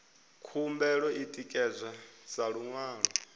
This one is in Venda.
khumbelo i ṋekedzwa sa luṅwalo